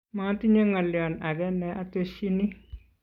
matinye ng'olion age ne atesyini